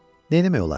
Neyləmək olar?